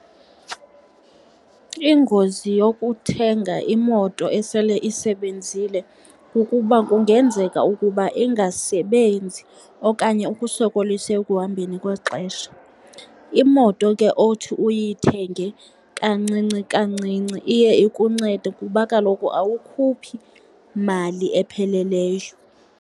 Ingozi yokuthenga imoto esele isebenzile kukuba kungenzeka ukuba ingasebenzi okanye ukusokolise ekuhambeni kwexesha. Imoto ke othi uyithenge kancinci kancinci iye ikuncede, kuba kaloku awukhuphi mali epheleleyo.